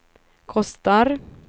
kostar